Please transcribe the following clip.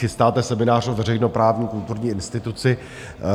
Chystáte seminář o veřejnoprávní kulturní instituci.